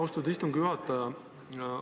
Austatud istungi juhataja!